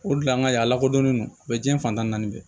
O de la an ka yan a lakodɔnnen do diɲɛ fantanni bɛ